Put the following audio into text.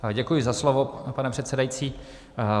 Děkuji za slovo, pane předsedající.